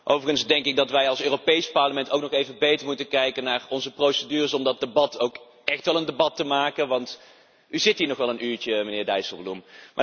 Overigens denk ik dat wij als Europees Parlement ook nog even beter moeten kijken naar onze procedures om van dat debat ook echt een debat te maken, want u zit hier nog wel een uurtje, meneer Dijsselbloem.